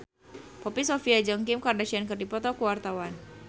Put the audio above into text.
Poppy Sovia jeung Kim Kardashian keur dipoto ku wartawan